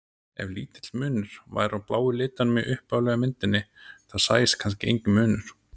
Ef lítill munur væri á bláu litunum í upphaflegu myndinni þá sæist kannski enginn munur.